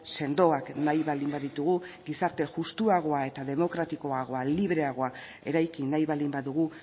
sendoak nahi baldin baditugu gizarte justuagoa eta demokratikoagoa libreagoa eraiki nahi baldin badugu